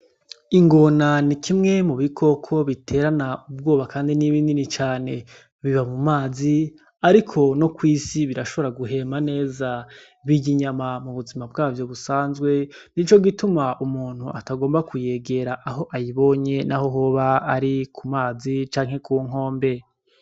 Ingona ni kimwe mubikoko biterana ubwoba kandi ni binini cane biba mu mazi ariko no ku isi birashobora guhema neza birya inyama mubuzima bwavyo busanzwe nico gituma umuntu atagomba kuyegera aho ayibonye naho hoba ari kumazi canke kunkombe.